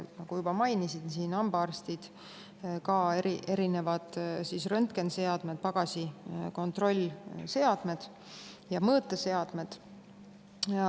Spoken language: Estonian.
Nagu ma juba mainisin, hambaarstid, aga on ka erinevad röntgeniseadmed, pagasikontrolliseadmed ja mõõteseadmed.